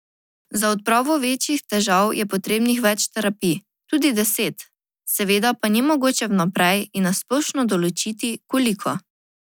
Za odpravo večjih težav je potrebnih več terapij, tudi deset, seveda pa ni mogoče vnaprej in na splošno določiti, koliko.